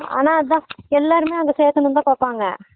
ஆனா அதான் எல்லாருமே அங்க சேத்தனும்னு தான் பாப்பாங்க